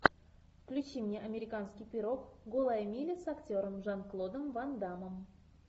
включи мне американский пирог голая миля с актером жан клодом ван даммом